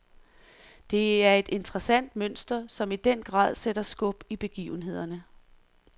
Det er et interessant mønster, som i den grad sætter skub i begivenhederne.